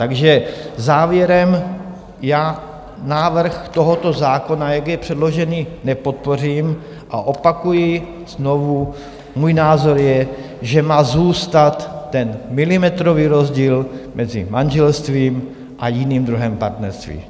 Takže závěrem, já návrh tohoto zákona, jak je předložen, nepodpořím a opakuji znovu, můj názor je, že má zůstat ten milimetrový rozdíl mezi manželstvím a jiným druhem partnerství.